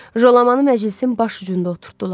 Jolamanı məclisin baş ucunda oturdtdular.